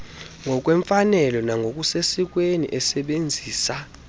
ngokwemfanelo nangokusesikweni esebenzisa